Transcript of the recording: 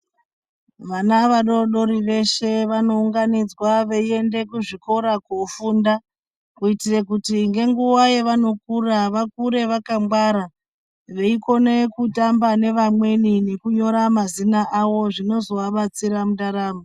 Vana vadodori veshe vanounganidzwa veienda kuzvikora kofunda kuitira kuti ngenguwa yavanofunda vakure vakwangwara kutamba nevamweni nekunyora mazina awo zvinozovabatsira mundaramo.